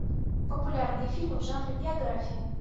популярные фильмы в жанре биография